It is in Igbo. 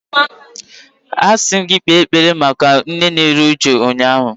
Asi m gi kpere ekpere maka nne na-eru uju ụnyahụ.